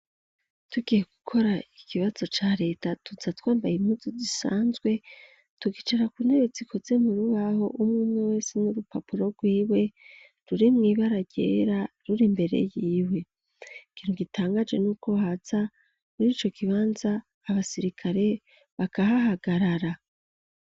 Tugiye gukora ikibazo ca reta tuza twambaye impuzu zisanzwe tukicara ku ntebe zikoze murubaho umumwe wese n'urupapuro rw'iwe ruri mw'ibara ryera, ruri mbere yiwe, ikintu gitangaje n'uko haza muri ico kibanza abasirikare bakahahagarara.